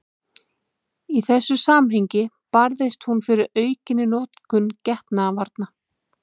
Í þessu samhengi barðist hún fyrir aukinni notkun getnaðarvarna.